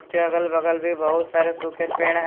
के अगल बगल भी बहुत सारे सूखे पेड़ हैं।